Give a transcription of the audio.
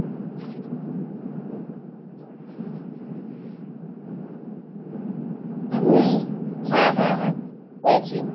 হম হ্যাঁ হ্যাঁ হ্যাঁ পেয়েছি।